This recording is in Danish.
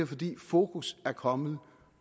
fordi fokus er kommet